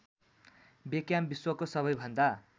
Beckham विश्वको सबैभन्दा